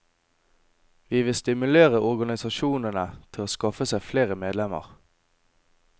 Vi vil stimulere organisasjonene til å skaffe seg flere medlemmer.